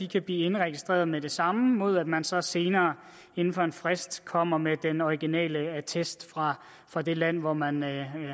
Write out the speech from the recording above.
kan blive indregistreret med det samme mod at man så senere inden for en frist kommer med den originale attest fra fra det land hvor man